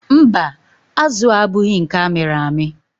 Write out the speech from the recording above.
Mba, azụ a abụghị nke amịrị amị.